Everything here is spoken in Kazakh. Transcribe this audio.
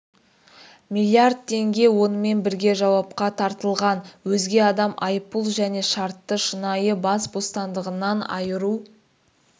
миллиарда тенге онымен бірге жауапқа тартылған өзге адам айыппұл және шартты шынайы бас бостандығынан айыру